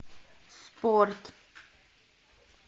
спорт